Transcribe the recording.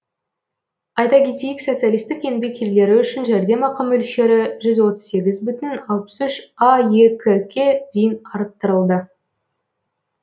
айта кетейік социалистік еңбек ерлері үшін жәрдемақы мөлшері жүз отыз сегіз бүтін алпыс үш аек ке дейін арттырылды